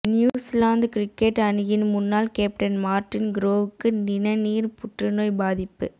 New Zealand cricket அணியின் முன்னாள் captain Martin குரோவ்க்கு நிணநீர் புற்றுநோய் பாதிப்பு